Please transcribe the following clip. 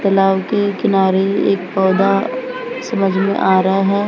तालाब के किनारे एक पौधा समझ में आ रहा है।